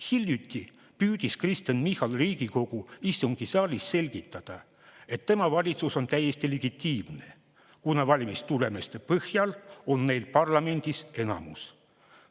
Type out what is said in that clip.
Hiljuti püüdis Kristen Michal Riigikogu istungisaalis selgitada, et tema valitsus on täiesti legitiimne, kuna valimistulemuste põhjal on neil parlamendis enamus.